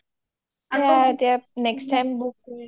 সেইয়া এটিয়া next time book কৰিম